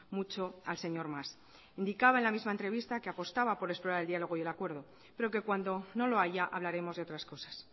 mucho al señor mas indicaba en la misma entrevista que apostaba por explorar el diálogo y el acuerdo pero que cuando no lo haya hablaremos de otras cosas